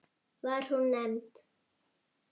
Var hún nefnd